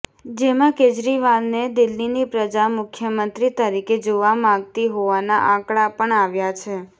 જેમાં કેજરીવાલને દિલ્હીની પ્રજા મુખ્યમંત્રી તરીકે જોવા માગતી હોવાના આંકડા પણ આવ્યા છે